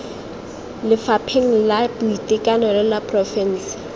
lefapheng la boitekanelo la porofense